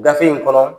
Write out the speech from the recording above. Gafe in kɔnɔ